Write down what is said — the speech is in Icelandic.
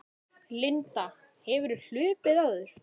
Linda: Hefurðu hlaupið áður?